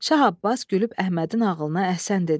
Şah Abbas gülüb Əhmədin ağılına əhsən dedi.